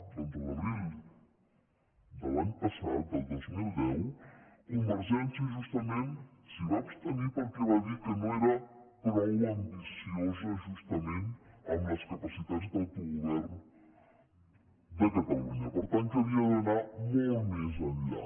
doncs l’abril de l’any passat del dos mil deu convergència justament s’hi va abstenir perquè va dir que no era prou ambiciosa justament amb les capacitats d’autogovern de catalunya per tant que havia d’anar molt més enllà